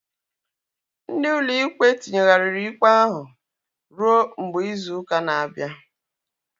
Ndị ụlọ ikpe tinyeghariri ikpe ahu ruo mgbe izu ụka na-abịa